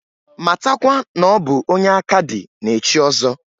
Matakwa n'ọ bụ onye aka dị na-echi ọzọ.